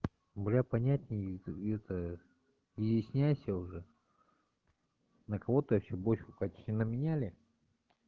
для понятнее объясняя уже на кого-то ещё больше катина меняли